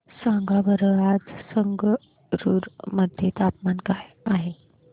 सांगा बरं आज संगरुर मध्ये तापमान काय आहे